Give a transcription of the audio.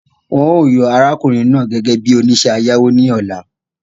The man will be elected as the loan officer tomorrow